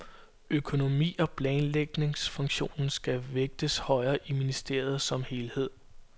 Økonomi- og planlægningsfunktionen skal vægtes højere i ministeriet som helhed.